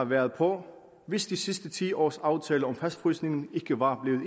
været på hvis de sidste ti års aftale om fastfrysningen ikke var